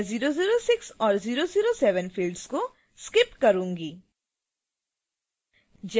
मैं 006 और 007 fields को skip करूंगी